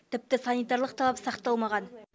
тіпті санитарлық талап сақталмаған